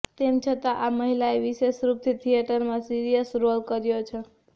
તેમ છતાં આ મહિલાએ વિશેષરૂપથી થિયેટરમાં સિરિયસ રોલ કર્યો છે